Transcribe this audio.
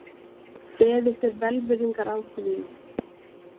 Beðist er velvirðingar á því